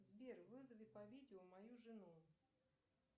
сбер вызови по видео мою жену